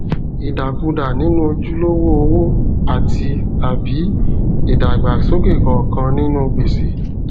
ìdàkudà nínú ojulowó owo àtitàbí ìdàgbàsókè kánkán nínú gbèsè